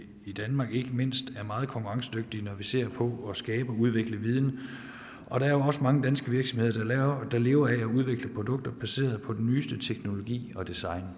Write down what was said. i danmark ikke mindst er meget konkurrencedygtige når man ser på at skabe og udvikle viden og der er jo også mange danske virksomheder der lever af at udvikle produkter baseret på den nyeste teknologi og design